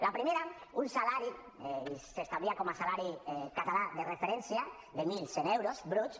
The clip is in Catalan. la primera un salari i s’establia com a salari català de referència de mil cent euros bruts